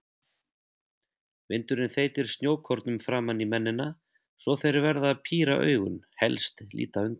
Vindurinn þeytir snjókornum framan í mennina svo þeir verða að píra augun, helst líta undan.